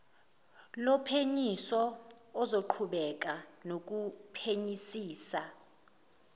lophenyisiso ozoqhubeka nokuphenyisisa